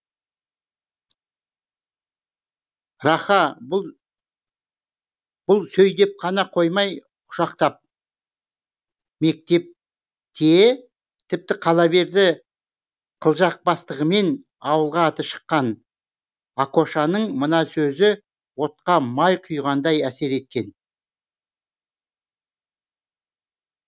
раха бұл бұл сөйдеп қана қоймай құшақтап мектепте тіпті қала берді қылжақбастығымен ауылға аты шыққан акошаның мына сөзі отқа май құйғандай әсер еткен